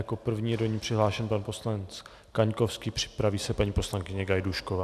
Jako první je do ní přihlášen pan poslanec Kaňkovský, připraví se paní poslankyně Gajdůšková.